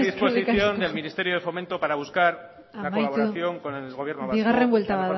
predisposición del ministerio de fomento para buscar la colaboración con el gobierno vasco amaitu bigarren buelta